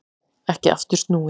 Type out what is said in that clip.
Ekki aftur snúið